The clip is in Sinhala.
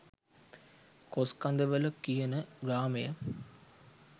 කොස්කඳවල කියන ග්‍රාමය